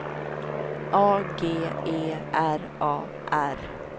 A G E R A R